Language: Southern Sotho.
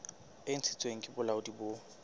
e ntshitsweng ke bolaodi bo